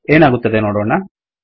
ಏನಾಗುತ್ತದೆ ನೋಡೋಣ